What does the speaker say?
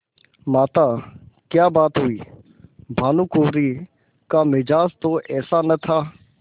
माताक्या बात हुई भानुकुँवरि का मिजाज तो ऐसा न था